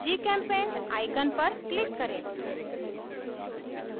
gchempaint icon पर click करें